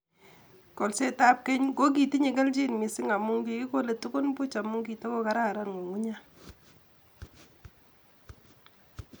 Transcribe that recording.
Kolsetab keny kokitinye kelchin mising amun kikikole tugun buuch amun kitokokararan ngungunyek.